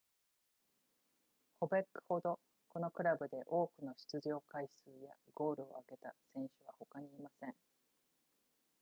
ボベックほどこのクラブで多くの出場回数やゴールを挙げた選手は他にいません